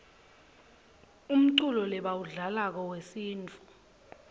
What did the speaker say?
umculo lebawudlalako wesintfu